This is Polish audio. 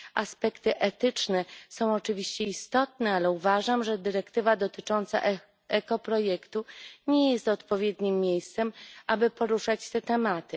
Aspekty etyczne są oczywiście istotne, ale uważam, że dyrektywa dotycząca ekoprojektu nie jest odpowiednim miejscem, aby poruszać te tematy.